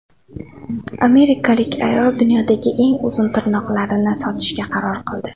Amerikalik ayol dunyodagi eng uzun tirnoqlarini sotishga qaror qildi.